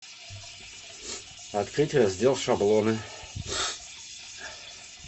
открыть раздел шаблоны